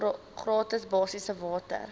gratis basiese water